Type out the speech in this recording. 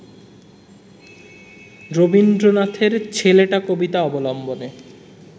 রবীন্দ্রনাথের ‘ছেলেটা’ কবিতা অবলম্বনে